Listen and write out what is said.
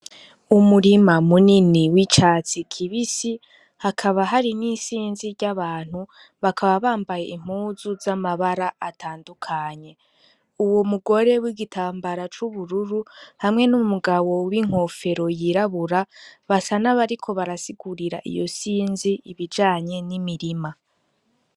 Umurima munini w'icatsi kibisi hakaba hari n'isinzi ry'abantu bakaba bambaye impuzu z'amabara atandukanye uwo mugore w'igitambara c'ubururu hamwe n'umugabo w'inkofero yirabura basa n'abariko barasigurira iyo sinzi ibijanye ni mirima.